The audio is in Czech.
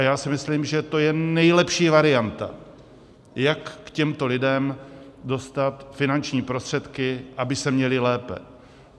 A já si myslím, že to je nejlepší varianta, jak k těmto lidem dostat finanční prostředky, aby se měli lépe.